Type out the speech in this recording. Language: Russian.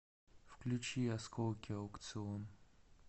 включи осколки аукцыон